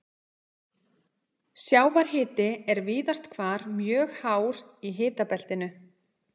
Sjávarhiti er víðast hvar mjög hár í hitabeltinu.